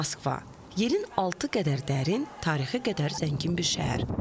Moskva yerin altı qədər dərin, tarixi qədər zəngin bir şəhər.